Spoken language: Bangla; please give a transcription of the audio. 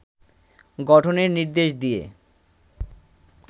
গঠনের নির্দেশ দিয়ে